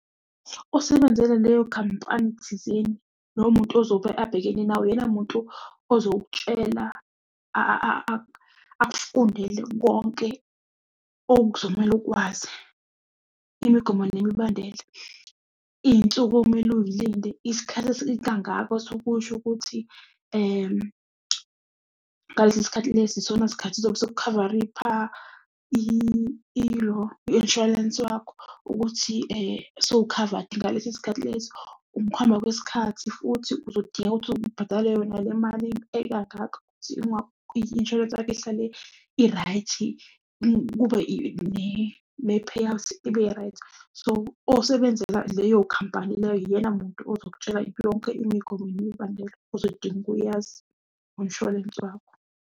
Osebenzele leyo khampani thizeni, lowo muntu ozobe abhekene nawe uyena muntu ozokutshela akufundele konke okuzomele ukwazi imigomo nemibandela. Iy'nsuku okumele uy'linde, isikhathi kangaka sukusho ukuthi ngalesi sikhathi lesi isona sikhathi zobe sekukhavaripha ilo i-inshwarensi wakho. Ukuthi sewukhavadi ngaleso sikhathi leso. Ukuhamba kwesikhathi futhi uzodinga ukuthi ubhadale yona le mali i-inshwarensi yakho ihlale i-right. Kube ne-payout-i ibe-right. So, osebenzela leyo khampani leyo, uyena muntu ozokutshela yonke imigomo nemibandela ozodinga ukuyazi ngomshwalense wakho.